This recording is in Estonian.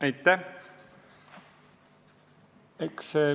Aitäh!